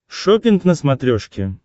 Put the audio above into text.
шоппинг на смотрешке